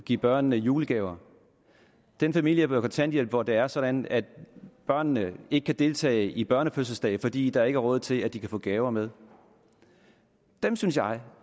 give børnene julegaver den familie på kontanthjælp hvor det er sådan at børnene ikke kan deltage i børnefødselsdage fordi der ikke er råd til at de kan få gaver med dem synes jeg